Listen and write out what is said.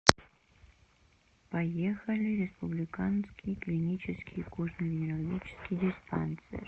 поехали республиканский клинический кожно венерологический диспансер